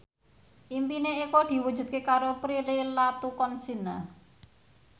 impine Eko diwujudke karo Prilly Latuconsina